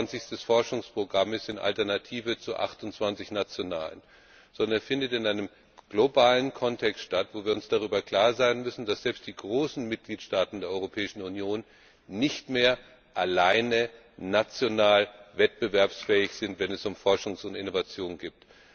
29. Forschungsprogramm alternativ zu 28 nationalen ist, sondern es findet in einem globalen Kontext statt, wobei wir uns darüber klar sein müssen, dass selbst die großen Mitgliedstaaten der Europäischen Union nicht mehr alleine national wettbewerbsfähig sind, wenn es um Forschung und Innovation geht.